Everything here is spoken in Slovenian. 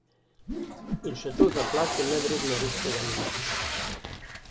In še to za plačo, nevredno resnega ministra.